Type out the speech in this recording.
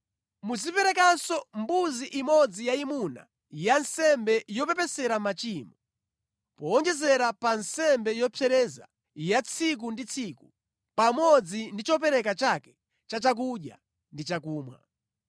Muziperekanso mbuzi imodzi yayimuna ya nsembe yopepesera machimo, powonjezera pa nsembe yopsereza ya tsiku ndi tsiku pamodzi ndi chopereka chake cha chakudya ndi chakumwa.